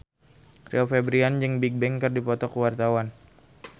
Rio Febrian jeung Bigbang keur dipoto ku wartawan